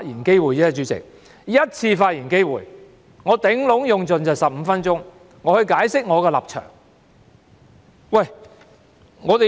主席，我只有一次發言機會，我最多只會用盡15分鐘解釋我的立場。